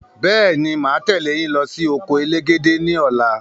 Bẹ́ẹ̀ni, máa tẹ leyin lọ sí oko elégédé ni ọ̀la